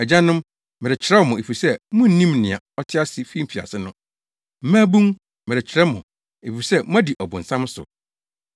Agyanom, merekyerɛw mo, efisɛ munim nea ɔte ase fi mfiase no. Mmabun, merekyerɛw mo, efisɛ moadi ɔbonsam so.